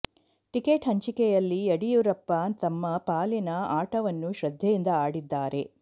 ticket ಹಂಚಿಕೆಯಲ್ಲಿ ಯಡಿಯೂರಪ್ಪ ತಮ್ಮ ಪಾಲಿನ ಆಟವನ್ನು ಶ್ರದ್ಧೆಯಿಂದ ಆಡಿದ್ದಾರೆ